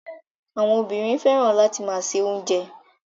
Àwọn obìnrin fẹ́ràn láti máa se oúnjẹ.